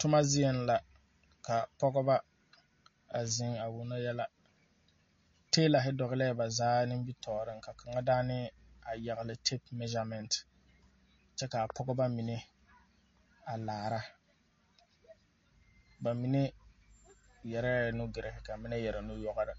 Toma zieŋ la. Ka pɔgɔba a zeŋ a wono yella. Taɛlahe dogleɛ ba zaa nimitooreŋ ka kanga daane a yagle tɛp mɛzamɛnt. Kyɛ ka pɔgɔba mene a laara. Ba mene yɛreɛ nugire ka mene yɛre nuyɔgre